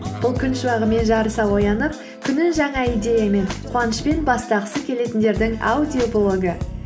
бұл күн шуағымен жарыса оянып күнін жаңа идеямен қуанышпен бастағысы келетіндердің аудиоблогы